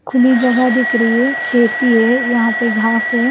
खुली जगह दिख रही है खेती है यहाँ पे घास है।